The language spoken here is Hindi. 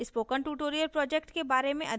spoken tutorial project के बारे में अधिक जानने के लिए